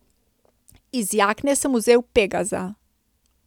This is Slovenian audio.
Iz jakne sem vzel Pegaza.